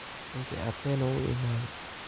Ninki Atieno wuu iimade.